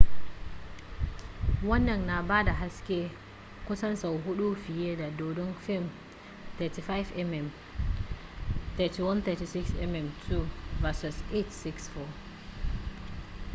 wannan na bada haske kusan sau huɗu fiye da dodo fim 35 mm 3136 mm2 versus 864